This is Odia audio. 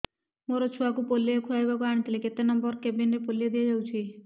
ମୋର ଛୁଆକୁ ପୋଲିଓ ଖୁଆଇବାକୁ ଆଣିଥିଲି କେତେ ନମ୍ବର କେବିନ ରେ ପୋଲିଓ ଦିଆଯାଉଛି